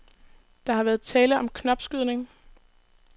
Der har været tale om knopskydning.